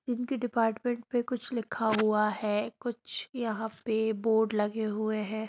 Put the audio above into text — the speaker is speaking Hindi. इनके डिपार्टमेंट में कुछ लिखा हुआ है कुछ यहाँ पे बोर्ड लगे हुए है।